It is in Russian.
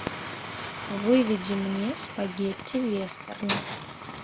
выведи мне спагетти вестерн